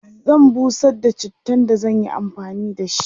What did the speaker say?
zan busar da chittan da zan Yi amfani da shi